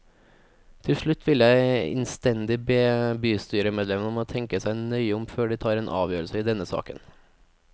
Til slutt vil jeg innstendig be bystyremedlemmene om å tenke seg nøye om før de tar en avgjørelse i denne saken.